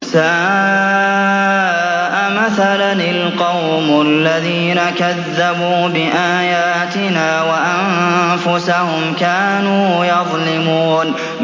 سَاءَ مَثَلًا الْقَوْمُ الَّذِينَ كَذَّبُوا بِآيَاتِنَا وَأَنفُسَهُمْ كَانُوا يَظْلِمُونَ